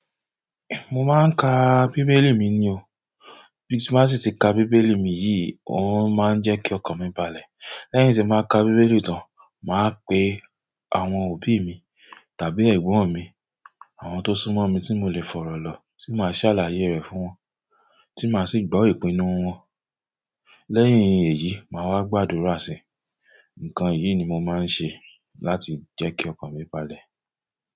Mo máa ń ka bíbélì mi ni o, bí ti n bá sì ti ka bíbélì mi yi, ó máa ń jẹ́ kí ọkàn mi balẹ̀. Lẹ́yìn tí n ba ka bíbélì tán, màá pe àwọn òbí mi tàbí ẹ̀gbon mi, àwọn tó súnmọ́ mi tí mo le fọ̀rọ̀ lọ, tí màá ṣàlàyé rẹ̀ fún wọn, tí màá sì gbọ́ ìpinnu wọn. Lẹ́yìn èyí maa wa gba àdúrà si. Nkan yìí ni mo maa n se láti je ki okan mi balẹ̀.